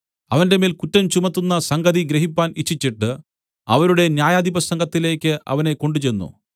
അവന്റെമേൽ കുറ്റം ചുമത്തുന്ന സംഗതി ഗ്രഹിപ്പാൻ ഇച്ഛിച്ചിട്ട് അവരുടെ ന്യായാധിപസംഘത്തിലേക്ക് അവനെ കൊണ്ടുചെന്നു